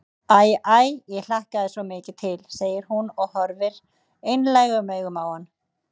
Æ, æ, ég hlakkaði svo mikið til, segir hún og horfir einlægum augum á hann.